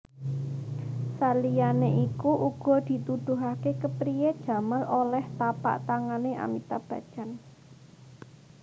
Saliyané iku uga dituduhaké kepriyé Jamal olèh tapaktangané Amitabh Bachchan